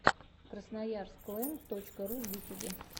красноярск лэнд точка ру в ютюбе